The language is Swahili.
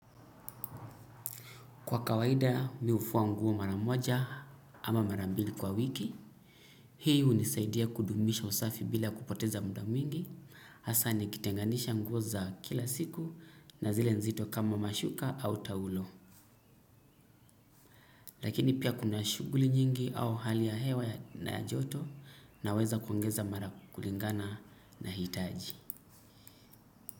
Kwa kawaida mimi hufua nguo mara moja ama mara mbili kwa wiki. Hii unisaidia kudumisha usafi bila kupoteza muda mwingi. Hasa nikitenganisha nguo za kila siku na zile nzito kama mashuka au taulo. Lakini pia kuna shuguli nyingi au hali ya hewa na ya joto naweza kuongeza mara kulingana na hitaji.